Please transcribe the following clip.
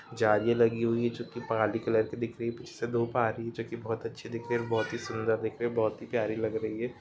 जाली लगी हुई जो की कलर की दिख रही है पीछे से धुप आ रही जो की बहुत अच्छी दिख रही है बहुत सूंदर दिख रही है बहुत ही प्यारी लग रही है।